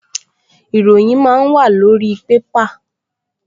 Ìròyìn máa ń wàlórí pépà